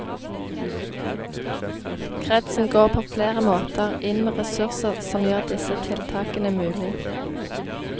Kretsen går på flere måter inn med ressurser som gjør disse tiltakene mulig.